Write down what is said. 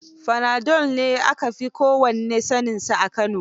Fanado ne maganin da aka fi kowannae saaninsa a Kano.